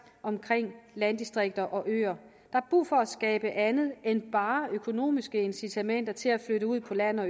omkring landdistrikter og øer der er brug for at skabe andet end bare økonomiske incitamenter til at flytte ud på landet og